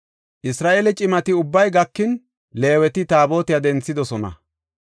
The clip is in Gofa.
Isra7eele cimati ubbay gakin, Leeweti Taabotiya denthidosona.